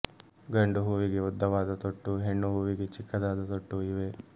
ಗಂಡು ಹೂವಿಗೆ ಉದ್ದವಾದ ತೊಟ್ಟೂ ಹೆಣ್ಣು ಹೂವಿಗೆ ಚಿಕ್ಕದಾದ ತೊಟ್ಟೂ ಇವೆ